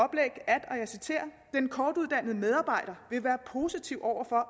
jeg citerer den kortuddannede medarbejder vil være positiv over for